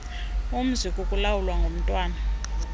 umzi kukulawulwa ngumntwana